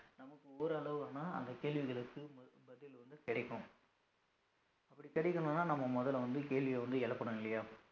நமக்கு ஓரளவுன்னா அந்த கேள்விகளுக்கு ப~ பதில் வந்து கிடைக்கும். அப்படி கிடைக்கணும்னா நம்ம முதல்ல வந்து கேள்விய வந்து எழுப்பணும் இல்லையா